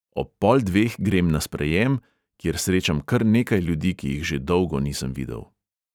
Ob pol dveh grem na sprejem, kjer srečam kar nekaj ljudi, ki jih že dolgo nisem videl.